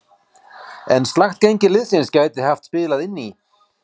En slakt gengi liðsins gæti hafa spilað inn í.